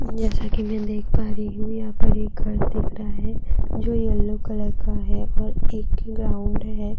जैसा कि मैं देख पा रही हूं यहाँ पर एक घर दिख रहा है जो येलो कलर का है और एक ग्राउंड है।